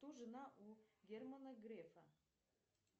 кто жена у германа грефа